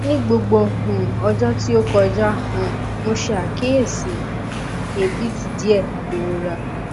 ni gbogbo um ọjọ ti o kọja um mo ṣe akiyesi abit diẹ irora